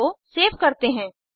इसको सेव करते हैं